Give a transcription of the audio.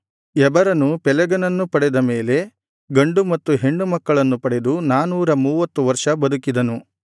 ಎಬರನು ಪೆಲೆಗನನ್ನು ಪಡೆದ ಮೇಲೆ ಗಂಡು ಹೆಣ್ಣು ಮಕ್ಕಳನ್ನು ಪಡೆದು ನಾನೂರ ಮೂವತ್ತು ವರ್ಷ ಬದುಕಿದನು